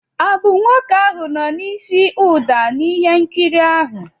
Ọ bụ nwoke ahụ nọ n'isi ụda n'ihe nkiri ahụ?